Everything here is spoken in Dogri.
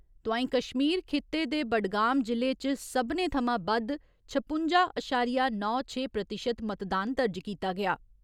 तोंआई कश्मीर खिते दे बडगाम जि'ले च सब्बने थमां बद्द छपुंजा अशारिया नौ छे प्रतिशत मतदान दर्ज कीता गेआ।